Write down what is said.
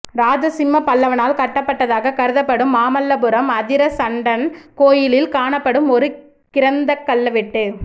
ராஜசிம்ம பல்லவனால் கட்டப்பட்டதாகக் கருதப்படும் மாமல்லபுரம் அதிரணசண்டன் கோயிலில் காணப்படும் ஒரு கிரந்தக் கல்வெட்டு